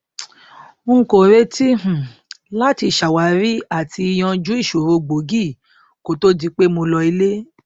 n kò retí um láti ṣàwárí àti yanjú ìṣòro gbòógì kó to di pé mo lọ ilé